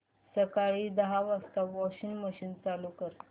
सकाळी दहा वाजता वॉशिंग मशीन चालू कर